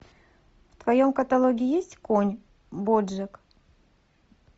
в твоем каталоге есть конь боджек